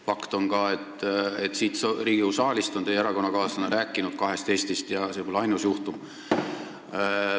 Fakt on ka, et siin Riigikogu saalis on teie erakonnakaaslane rääkinud kahest Eestist, ja see pole ainus juhtum.